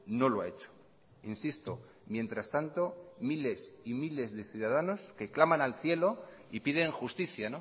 no lo ha hecho insisto mientras tanto miles y miles de ciudadanos que claman al cielo y piden justicia